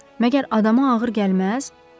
Məgər adama ağır gəlməz?